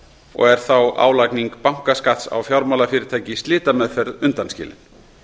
og er þá álagning bankaskatts á fjármálafyrirtæki í slitameðferð undanskilin